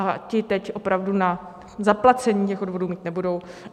A ty teď opravdu na zaplacení těch odvodů mít nebudou.